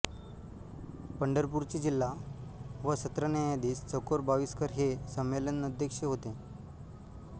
पंढरपूरचे जिल्हा व सत्र न्यायाधीश चकोर बाविस्कर हे संमेलनध्यक्ष होते